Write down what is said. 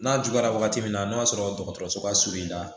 N'a juguyara wagati min na n'o y'a sɔrɔ dɔgɔtɔrɔso ka surun i la